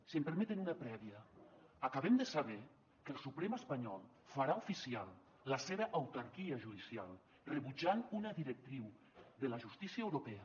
si em permeten una prèvia acabem de saber que el suprem espanyol farà oficial la seva autarquia judicial rebutjant una directriu de la justícia europea